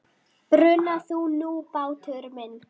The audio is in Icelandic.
Bruna þú nú, bátur minn.